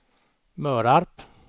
Mörarp